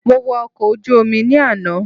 Mo wo ọkọ̀ ojú Omi ni àná